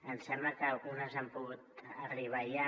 em sembla que algunes han pogut arribar ja